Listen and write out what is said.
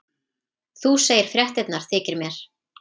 Þú segir fréttirnar þykir mér!